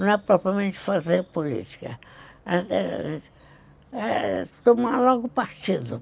Não é propriamente fazer política, é tomar logo partido.